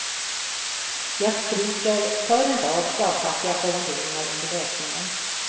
Jag stryker för en rad slagkraftiga formuleringar under läsningen.